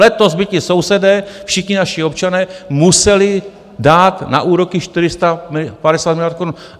letos by ti sousedé, všichni naši občané museli dát na úroky 450 miliard korun.